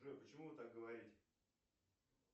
джой почему вы так говорите